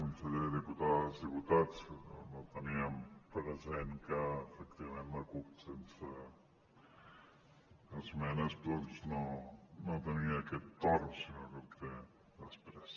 conseller diputades diputats no teníem present que efectivament la cup sense esmenes no tenia aquest torn sinó que el té després